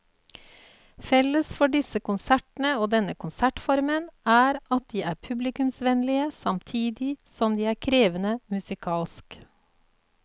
Felles for disse konsertene og denne konsertformen er at de er publikumsvennlige samtidig som de er krevende musikalsk.